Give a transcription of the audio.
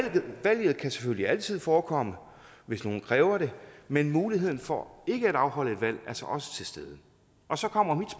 kan selvfølgelig altid forekomme hvis nogen kræver det men muligheden for ikke at afholde et valg er så også til stede og så kommer